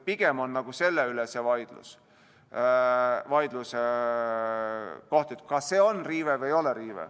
Pigem on see vaidlus selle üle, kas see on riive või ei ole.